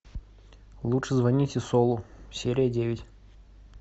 лучше звоните солу серия девять